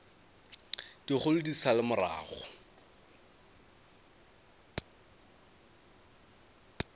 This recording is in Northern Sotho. dikgolo di sa le morago